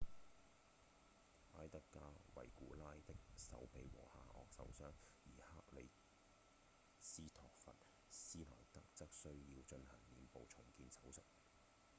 埃德加·維古拉 edgar veguilla 的手臂和下顎受傷而克里斯托弗·施耐德 kristoffer schneider 則需要進行臉部重建手術